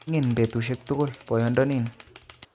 Migin betusiek tugul boyodonin